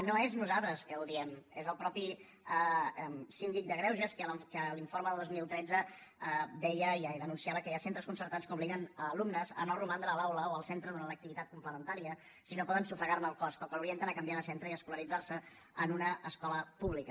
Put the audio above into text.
no som nosaltres que ho diem és el mateix síndic de greuges que en l’informe del dos mil tretze deia i ja ho denunciava que hi ha centres concertats que obliguen alumnes a no romandre a l’aula o al centre durant l’activitat complementària si no poden sufragarne el cost o que l’orienten a canviar de centre i a escolaritzarse en una escola pública